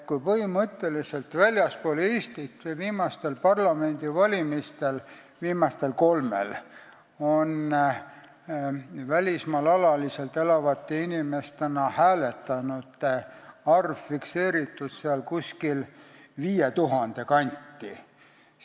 Põhimõtteliselt on viimasel kolmel parlamendivalimisel väljaspool Eestit, välismaal alaliselt elavate hääletanute arv fikseeritud 5000 kanti.